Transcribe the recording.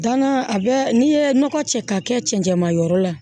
Danna a bɛ n'i ye nɔgɔ cɛ ka kɛ cɛncɛnmayɔrɔ la